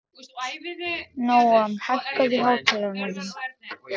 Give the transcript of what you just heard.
Nóam, hækkaðu í hátalaranum.